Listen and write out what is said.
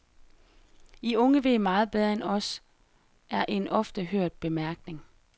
I unge ved meget bedre end os, er en ofte hørt bemærkning.